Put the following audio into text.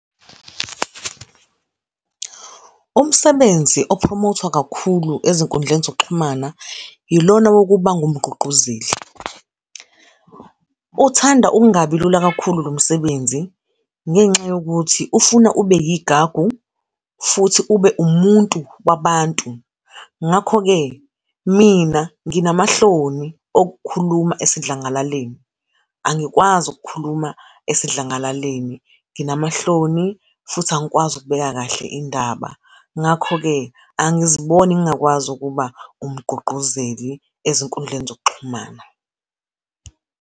Umsebenzi ophromothwa kakhulu ezinkundleni zokuxhumana, ilona wokuba ungumgqugquzeli. Uthanda ukungabi lula kakhulu lo msebenzi, ngenxa yokuthi, ufuna ube yigagu, futhi ube umuntu wabantu. Ngakho-ke, mina nginamahloni okukhuluma esidlangalaleni, angikwazi ukukhuluma esidlangalaleli. Nginamahloni, futhi angikwazi ukubeka kahle indaba. Ngakho-ke, angiziboni ngingakwazi ukuba umgqugquzeli ezinkundleni zokuxhumana.